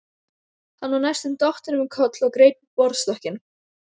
Hann var næstum dottinn um koll og greip í borðstokkinn.